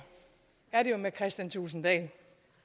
er det jo med kristian thulesen dahl